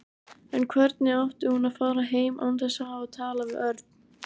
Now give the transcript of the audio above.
En hvernig átti hún að fara heim án þess að hafa talað við Örn?